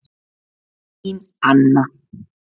Þín Anna